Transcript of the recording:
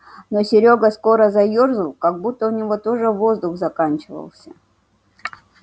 но серёга скоро заёрзал как будто у него тоже воздух заканчивался